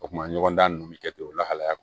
O kuma ɲɔgɔn dan ninnu bɛ kɛ ten o lahalaya